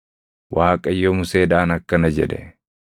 Waaqayyo Museedhaan akkana jedhe;